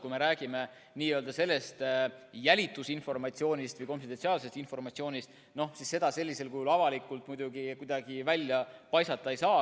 Kui me räägime jälitusinformatsioonist või konfidentsiaalsest informatsioonist, siis seda sellisel kujul avalikult muidugi kuidagi välja paisata ei saa.